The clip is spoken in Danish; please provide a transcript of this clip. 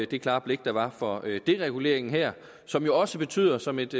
det klare blik der var for dereguleringen her som jo også betyder som et